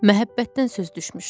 Məhəbbətdən söz düşmüşdü.